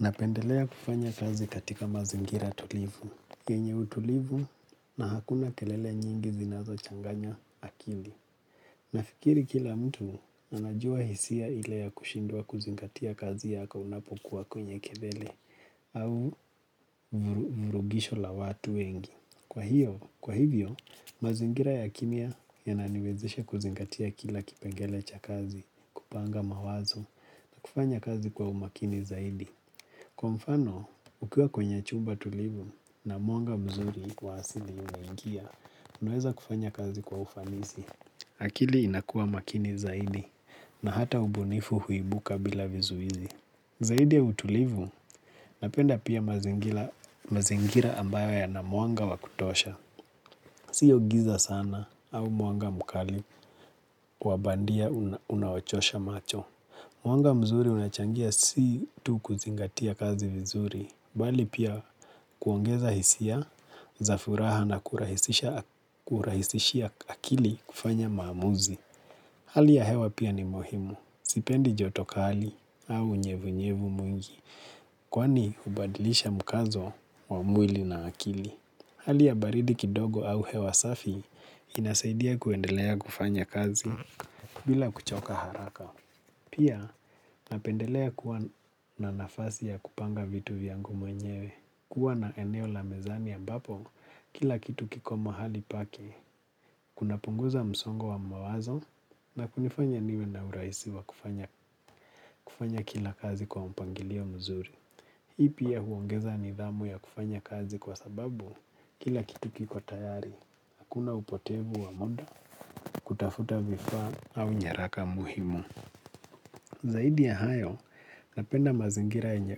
Napendelea kufanya kazi katika mazingira tulivu. Kwenye utulivu na hakuna kelele nyingi zinazochanganya akili. Nafikiri kila mtu anajua hisia ile ya kushindwa kuzingatia kazi yako unapokuwa kwenye kelele au vurugisho la watu wengi. Kwa hivyo, mazingira ya kimya yananiwezesha kuzingatia kila kipengele cha kazi kupanga mawazo na kufanya kazi kwa umakini zaidi. Kwa mfano, ukiwa kwenye chumba tulivu na mwanga mzuri wa hasili unangia, unaweza kufanya kazi kwa ufanisi. Akili inakua makini zaidi na hata ubunifu huibuka bila vizuizi. Zaidi ya utulivu, napenda pia mazingira ambayo ya na mwanga wa kutosha. Sio giza sana au mwanga mkali kwa bandia unawachosha macho. Mwanga mzuri unachangia si tu kuzingatia kazi vizuri, bali pia kuongeza hisia, za furaha na kurahisisha akili kufanya maamuzi. Hali ya hewa pia ni muhimu, sipendi joto kali au unyevunyevu mwingi, kwani hubadilisha mkazo wa mwili na akili. Hali ya baridi kidogo au hewa safi inasaidia kuendelea kufanya kazi bila kuchoka haraka. Pia, napendelea kuwa na nafasi ya kupanga vitu vyangu mwenyewe. Kuwa na eneo la mezani ya ambapo, kila kitu kiko mahali pake. Kunapunguza msongo wa mawazo na kunifanya niwe na urahisi wa kufanya kufanya kila kazi kwa mpangilio mzuri. Hii pia huongeza nidhamu ya kufanya kazi kwa sababu kila kitu kiko tayari. Hakuna upotevu wa muda, kutafuta vifaa au nyaraka muhimu. Zaidi ya hayo napenda mazingira yenye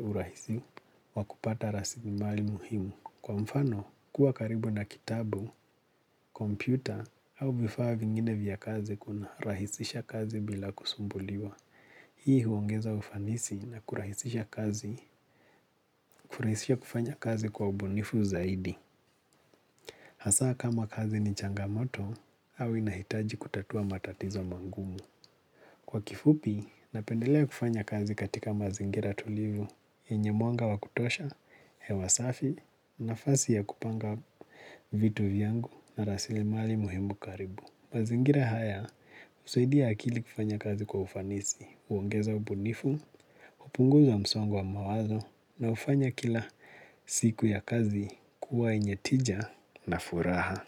urahisi wakupata rasilimali muhimu kwa mfano kuwa karibu na kitabu, kompyuta au vifaa vingine vya kazi kuna rahisisha kazi bila kusumbuliwa. Hii huongeza ufanisi na kurahisisha kazi, kurahisisha kufanya kazi kwa ubunifu zaidi. Hasaa kama kazi ni changamoto au inahitaji kutatua matatizo mangumu. Kwa kifupi, napendelea kufanya kazi katika mazingira tulivu, yenye mwanga wa kutosha, hewa safi, nafasi ya kupanga vitu vyangu na rasilimali muhimu karibu. Mazingira haya, husaidia akili kufanya kazi kwa ufanisi, uongeza ubunifu, hupunguza msongo wa mawazo, na hufanya kila siku ya kazi kuwa yenye tija na furaha.